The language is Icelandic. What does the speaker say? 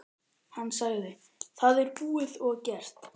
Hann sagði: Það er búið og gert.